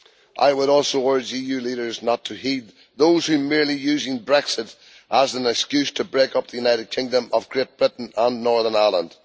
I would also urge EU leaders not to heed those who are merely using Brexit as an excuse to break up the United Kingdom of Great Britain and Northern Ireland.